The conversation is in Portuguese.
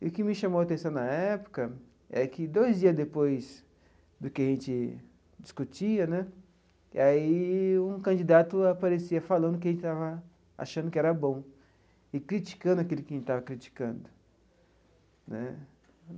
O que me chamou a atenção na época é que, dois dias depois do que a gente discutia né, e aí um candidato aparecia falando o que a gente estava achando que era bom e criticando aquele que a gente estava criticando né.